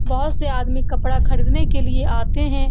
बहुत से आदमी कपड़ा खरीदने के लिए आते हैं ।